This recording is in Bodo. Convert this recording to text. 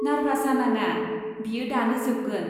नारभास जानाङा, बेयो दानो जोबगोन।